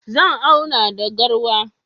Zan auna da garwa.